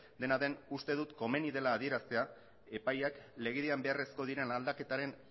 dena den uste dut komeni dela adieraztea epaiak legedian beharrezko diren aldaketaren